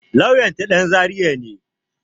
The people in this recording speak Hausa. Lauyan ta ɗan zaria ne